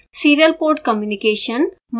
serial port communication